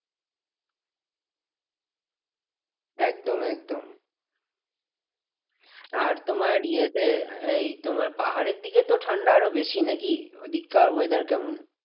একদম একদম আর তোমার ইয়ে তে এই তোমার পাহাড়ের দিকে তো ঠান্ডা আরও বেশি নাকি? ঐদিককার weather কেমন?